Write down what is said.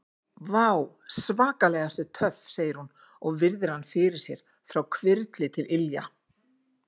Vá, svakalega ertu töff, segir hún og virðir hann fyrir sér frá hvirfli til ilja.